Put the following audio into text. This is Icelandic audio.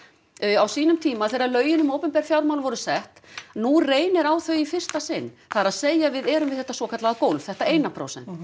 á sínum tíma þegar lögin um opinber fjármál voru sett nú reynir á þau í fyrsta sinn það er að segja við erum við þetta svokallaða gólf þetta eina prósent